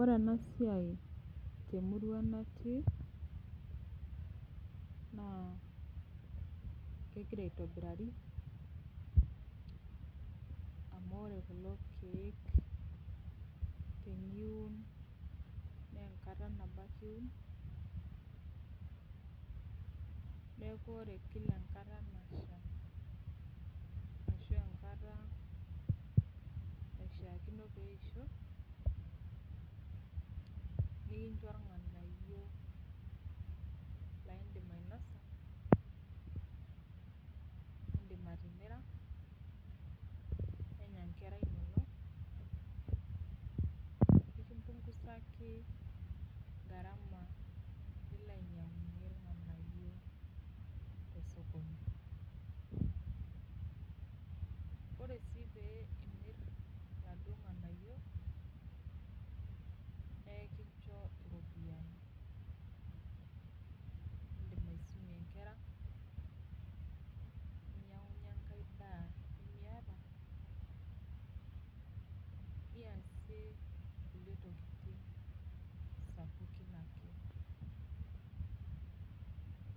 Ore enasiai temurua natii, naa kegira aitobirari, amu ore kulo keek teniun, nenkata nabo ake iun, neeku ore kila enkata nasha ashu enkata naishaakino peisho, nikincho irng'anayio laidim ainosa, idim atimira, nenya nkera inonok, nkimpungusaki gharama nilo ainyang'unye tosokoni. Ore si pee imir iladuo ng'anayio, nekincho iropiyiani. Idim aisumie nkera, ninyang'unye enkae daa nimiata, niasie inkulie tokiting sapukin ake.